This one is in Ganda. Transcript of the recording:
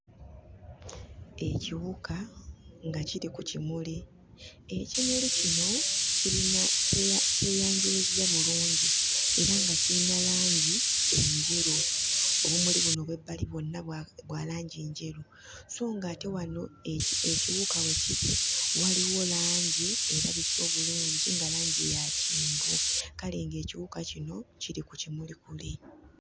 Ekiwuka nga kiri ku kimuli ekimuli kino kirina kyeya kyeyanjuluzza bulungi era nga kiyina langi enjeru obumuli buno obw'ebbali bwonna bw'aku bwa langi njeru so ng'ate wano eki ekiwuka we kiri waliwo langi erabise obulungi nga langi ya kyenvu kale ng'ekiwuka kino kiri ku kimuli kiri.